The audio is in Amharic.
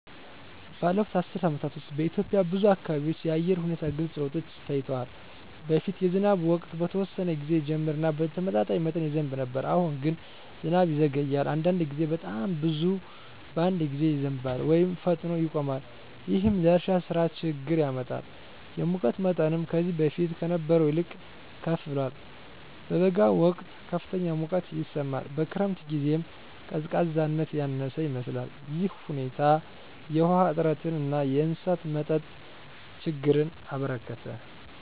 ባለፉት አስርት ዓመታት ውስጥ በኢትዮጵያ ብዙ አካባቢዎች የአየር ሁኔታ ግልጽ ለውጦች ታይተዋል። በፊት የዝናብ ወቅት በተወሰነ ጊዜ ይጀምር እና በተመጣጣኝ መጠን ይዘንብ ነበር። አሁን ግን ዝናብ ይዘገያል፣ አንዳንድ ጊዜም በጣም ብዙ በአንድ ጊዜ ይዘንባል ወይም ፈጥኖ ይቆማል። ይህም ለእርሻ ሥራ ችግኝ ያመጣል። የሙቀት መጠንም ከዚህ በፊት ከነበረው ይልቅ ከፍ ብሏል። በበጋ ወቅት ከፍተኛ ሙቀት ይሰማል፣ በክረምት ጊዜም ቀዝቃዛነት ያነሰ ይመስላል። ይህ ሁኔታ የውሃ እጥረትን እና የእንስሳት መጠጥ ችግኝን አበረከተ።